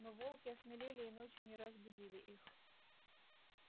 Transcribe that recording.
но волки осмелели и ночью не раз будили их